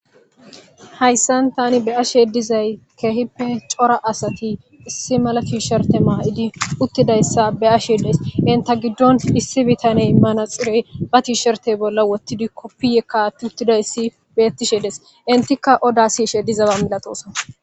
Hayssan tani be ashe dizay keehippe cora asati issi malafi sherte maa'idi uttidayssa be ashedes inta giddon issi bitaney manaxirey ba tishertey bolla wottidi koppiyekkat uttidayssi bettishe des intikka oda si she dizaba milaxoosa.